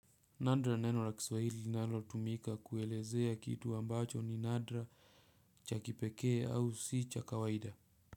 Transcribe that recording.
Nadra ni neno la kiswahili linalotumika kuelezea kitu ambacho ni nadra cha kipekee au si cha kawaida.